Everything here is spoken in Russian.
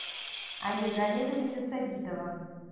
олега олеговича сабитова